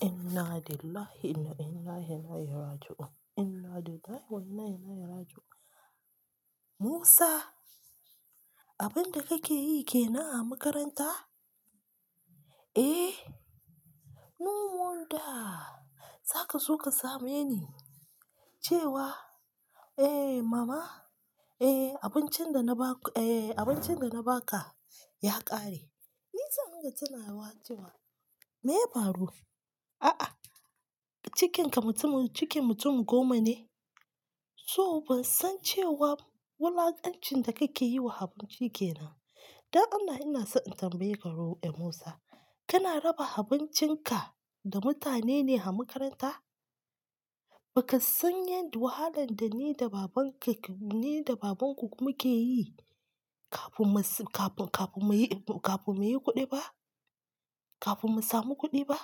Inna lillahi wa inna ilaihi raji'un. Inna lillahi wa inna ilaihi raji'un. Musa, abin da kake yi ke nan a makaranta? Eh, mumul da. Za ka zo ka same ni cewa, "Eh mama, eh abincin da na ba-- eh abincin da na ba ka ya ƙare." Ni can haka tana wa cewa, me ya faru? A'a, cikinka mutumin-- cikin mutumin goma ne? So ban san cewa wulakancin da kake yi wa abinci ke nan. Don Allah ina so in tambaye ka ruwa, eh Musa, kana raba abincinka da mutane ne a makaranta? Baka san yadda wahalan da ni da babanka ke-- ni da babanku muke yi kafun masu-- kafun, kafun muyi, kafun muyi kuɗi ba? Kafin mu samu kuɗi ba?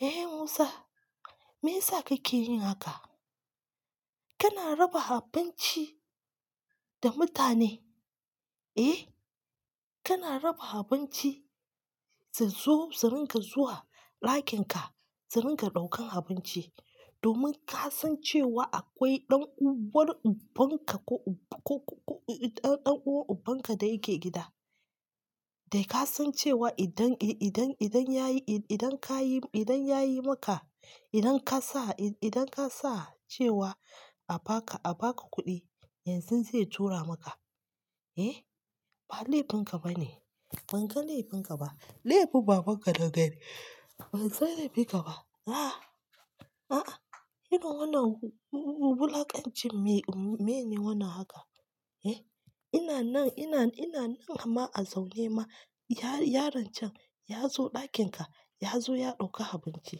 Ehen Musa, me ya sa kake yi haka? Kana raba abinci da mutane, eh? Kana raba abinci su zo su ringa zuwa ɗakinka, su ringa ɗaukan abinci domin ka san cewa akwai ɗan uwar ubanka ko, ko, ko, ɗan, ɗan uwar ubanka da yake gida. Dai ka san cewa idan, i-idan, idan ya yi, i-idan ka yi, idan ya yi maka, idan ka sa, i-idan ka sa cewa a ba ka, a ba ka kuɗi, yanzun zai tura maka. Eh? Ba laifin ka ba ne. Ba kan laifin ka ba. Laifin babanka daga dai. Ba zan laifi ka ba. A'a, a'a. Yana wannan wu-wu-wulakanci me, me ne wannan haka? Eh? Ina nan, ina, ina nan amma a zaune ma. Ya-yaron can ya zo ɗakin ka, ya zo ya ɗauki abinci,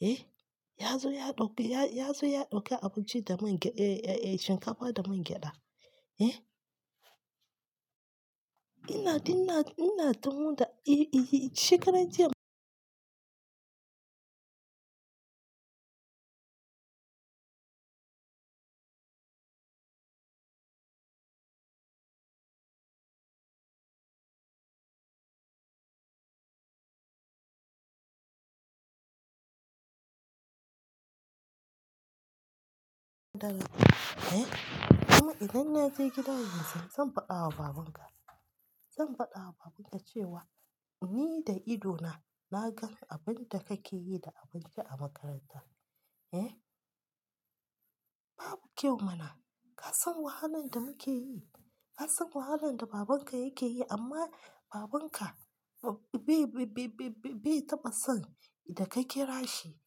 eh? Ya zo ya ɗauki, ya, ya zo ya ɗauki abinci da man ge-- eh, eh, shinkafa da man gyada, eh? Ina, ina, ina tunu da-- eh, i-iyi shekarar jiya ɗal, eh? Amma idan na je gida yanzu zan faɗa wa babanka. Zan faɗa wa babanka cewa ni da ido na, na gan abin da kake yi da abinci a makaranta, eh? Babu kyau mana. Ka san wahalan da muke yi? Ka san wahalan da babanka yake yi amma babanka ba-bai-bai-bai-bai-bai taɓa son idan ka kira shi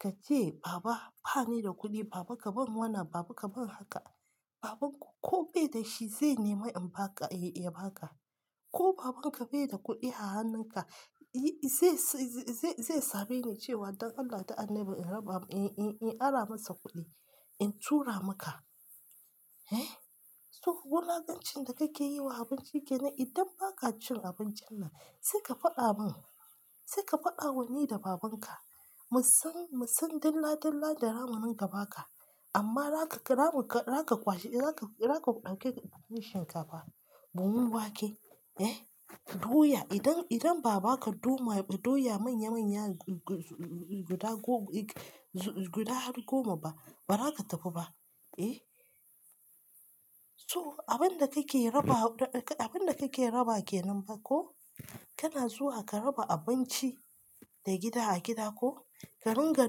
ka ce, "Baba, ba ni da kuɗi." Baba ka ban wannan, baba ka ban haka. Babanku ko bai da shi zai nemi in ba ka, ya ba ka. Ko babanka bai da kuɗi a hannunka, yi-- zai sa, zai, zai same ni cewa don Allah da annabi in raba, in, in, in ara masa kuɗi in tura maka, eh? So wulakancin da kake yi wa abinci ke nan idan ba ka cin abincin nan sai ka faɗa mun. Sai ka faɗa mun ni da babanka. Mu san, mu san dilla dilla da ramuninka ba ka. Amma raka ramu ka-- raka kwace, raka, raka ɗauke shinkafa, buhun wake, eh? Doya idan, idan ba ba ka ɗo ma-- doya manya manya guda ko guda har goma ba, ba za ka tafi ba, eh? So abin da kake raba, abin da kake raba ke nan ba ko kana zuwa ka raba abinci da gida a gida ko ka ringa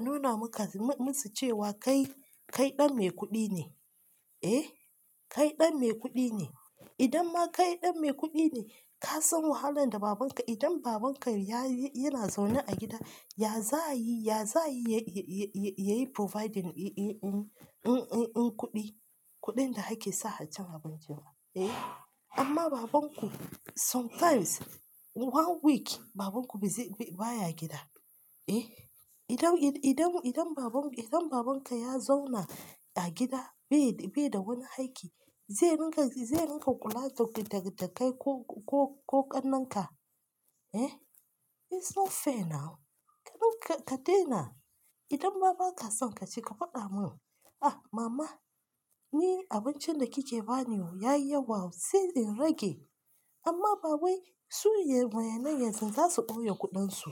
nuna maka-- musu cewa kai, kai ɗan mai kuɗi ne, eh? Kai ɗan mai kuɗi ne. Idan ma kai ɗan mai kuɗi ne, ka san wahalan da babanka-- idan babanka ya yi, yana zaune a gida, ya za yi, ya za yi ya, ya, ya yi providing in, in, in, in, in, in kuɗi, kuɗin da ake sa a cin abinci ma, eh? Amma babanku sometimes one week babanku bai zai-- baya gida, eh? Idan, i-idan, idan baban-- idan babanka ya zauna a gida bai, bai da wani aiki zai ringa, zai ringa kula da kai ko, ko, ko ƙannenka, eh? It's not fair now. Ka ringa-- ka daina. Idan ma ba ka son ka ci ka faɗa mun, "Ah mama ni abincin da kike ba ni o ya yi yawa sai in rage." Amma babai su yayin nan yanzu za su ɗauke kuɗansu.